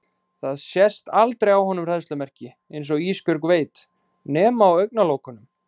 Það sést aldrei á honum hræðslumerki, einsog Ísbjörg veit, nema á augnalokunum.